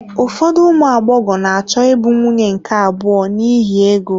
Ụfọdụ ụmụ agbọghọ na-achọ ịbụ nwunye nke abụọ n'ihi ego.